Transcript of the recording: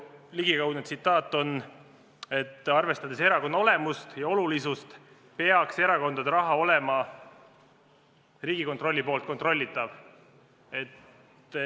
Tema ligikaudne tsitaat on: "Arvestades erakonna olemust ja olulisust, peaks erakondade raha olema Riigikontrolli poolt kontrollitav.